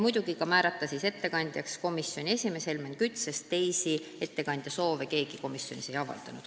Muidugi otsustati määrata ettekandjaks komisjoni esimees Helmen Kütt, sest teisi soovijaid ei olnud.